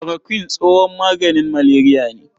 Kulorokuin tsohon maganin maleriya ne.